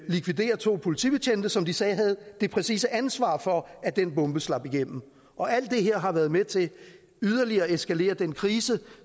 likvidere to politibetjente som de sagde havde det præcise ansvar for at den bombe slap igennem og alt det her har været med til yderligere at eskalere den krise